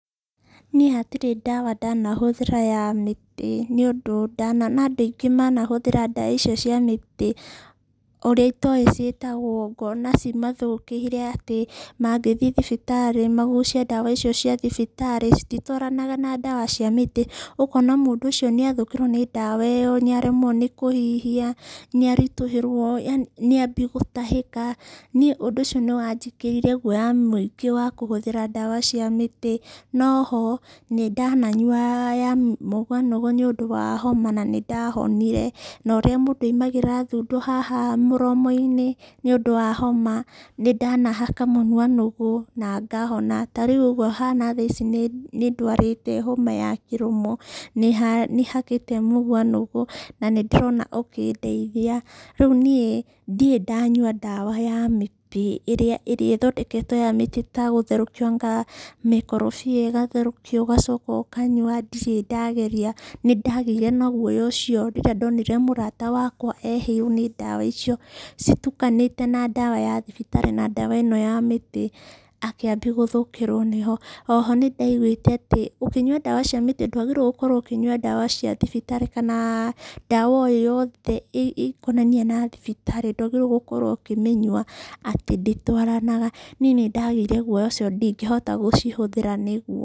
Niĩ hatirĩ ndawa ndanahũthĩra ya mĩtĩ. Nĩ ũndũ ndanona andũ aingĩ manahũthĩra ndawa icio cia mĩtĩ, ũrĩa itoĩ ciĩtagwo, ngona cimathũkĩire atĩ mangĩthi thibitarĩ magucie ndawa icio cia thibitarĩ, cititwaranaga na ndawa cia mĩtĩ, ũkona mũndũ ũcio nĩ athũkĩrwo nĩ ndawa ĩyo, nĩ aremwo nĩ kũhihia, nĩ aritũhĩrwo yaani nĩ ambi gũtahĩka. Niĩ ũndũ ũcio nĩ wanjĩkĩrire guoya mũingĩ wa kũhũthĩra ndawa cia mĩtĩ. No ho nĩ ndananyua ya mũguanũgũ nĩ ũndũ wa homa na nĩ ndahonire. No ũrĩa mũndũ aumagĩra thundo haha mũromo-inĩ nĩ ũndũ wa homa, nĩ ndanahaka mũnuanũgũ na ngahona. Ta rĩu ũguo hana thaa ici nĩ ndwarĩte homa ya kĩroma nĩ hakĩte mũguanũgũ, na nĩ ndĩrona ũkĩndeithia. Rĩu niĩ ndirĩ ndanyua ndawa ya mĩtĩ ĩrĩa ĩrĩa ĩthondeketwo ya mĩtĩ ta gũtherũkia anga mĩkorobia ĩgatherũkio ũgacoka ũkanyua ndirĩ ndageria. Nĩ ndagĩire na guoya ũcio rĩrĩa ndonire mũrata wakwa ehĩirwo nĩ ndawa icio, citukanĩte na ndawa ya thibitarĩ na ndawa ĩno ya mĩtĩ akĩambia gũthũkĩro nĩho. Oho nĩ ndaiguĩte atĩ, ũkĩnyua ndawa cia mĩtĩ ndwagĩrĩirwo gũkorwo ũkĩnyua ndawa cia thibitarĩ kana ndawa o yothe ĩkonainie na thibitarĩ ndwagĩrĩirwo gũkorwo ũkĩmĩnyua atĩ ndĩtwaranaga. Niĩ nĩ ndagĩire guoya ũcio ndingĩhota gũcihũthĩra nĩ.